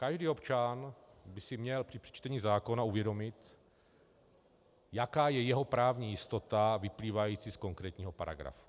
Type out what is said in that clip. Každý občan by si měl při čtení zákona uvědomit, jaká je jeho právní jistota vyplývající z konkrétního paragrafu.